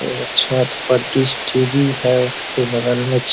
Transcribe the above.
एगो छत पर डिस टी.वी. है उसके बगल में --